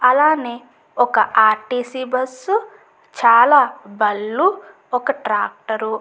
అలానే ఒక RTC. Bus చాలా బళ్ళు ఒక ట్రాక్టర్ --